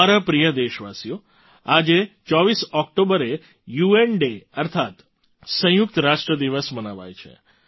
મારા પ્રિય દેશવાસીઓ આજે 24 ઑક્ટોબરે યુએન ડે અર્થાત સંયુક્ત રાષ્ટ્ર દિવસ મનાવાય છે